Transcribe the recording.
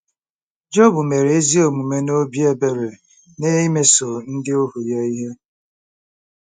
Job mere ezi omume na obi ebere n'imeso ndị ohu ya ihe.